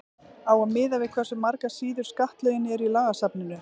á að miða við hversu margar síður skattalögin eru í lagasafninu